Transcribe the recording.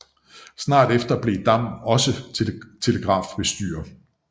Snart efter blev Dam også telegrafbestyrer